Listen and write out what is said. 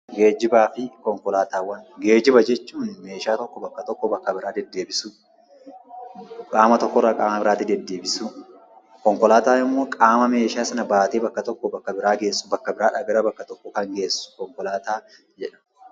Geejjibaa fi konkolaataawwan Geejjiba jechuun meeshaa tokko bakka tokkoo bakka biraa deddeebisuu; qaama tokkorraa qaama biraatti deddeebisuu. Konkolaataan immoo qaama meeshaa sana baatee bakka tokkoo bakka biraa geessu, bakka biraa dhaa gara bakka tokkoo kan geessu konkolaataa jedhama.